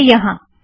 यह यहाँ